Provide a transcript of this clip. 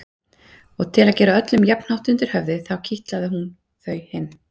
Og til að gera öllum jafnhátt undir höfði kitlaði hún þau hin.